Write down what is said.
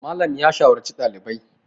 Malam ya shawarci ɗalibai